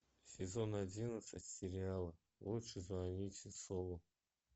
сезон одиннадцать сериала лучше звоните солу